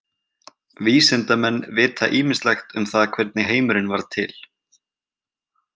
Vísindamenn vita ýmislegt um það hvernig heimurinn varð til.